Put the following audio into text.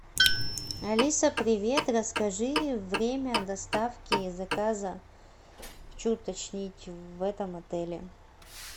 алиса привет расскажи время доставки заказа хочу уточнить в этом отеле